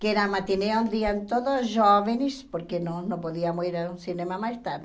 Que era matinê onde iam todos jovens, porque não não podíamos ir ao cinema mais tarde.